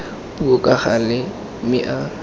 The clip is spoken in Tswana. puo ka gale mme a